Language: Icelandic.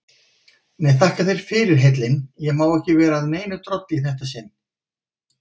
Nei, þakka þér fyrir heillin, ég má ekki vera að neinu drolli í þetta sinn.